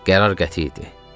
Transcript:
Qərar qəti idi.